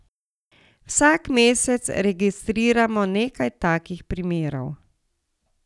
Vsak mesec registriramo nekaj takih primerov.